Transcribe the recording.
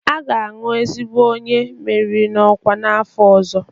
A ga-aṅụ ezigbo onye meriri n'ọkwa n'afọ ọzọ